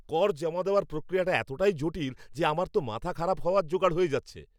কর জমা দেওয়ার প্রক্রিয়াটা এতটাই জটিল যে আমার তো মাথা খারাপ হওয়ার জোগাড় হয়ে যাচ্ছে!